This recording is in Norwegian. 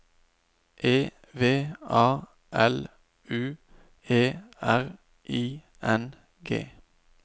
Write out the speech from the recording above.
E V A L U E R I N G